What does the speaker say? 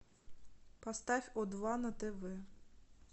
поставь о два на тв